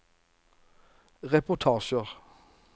reportasjer